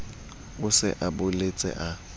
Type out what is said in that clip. a se a boletse a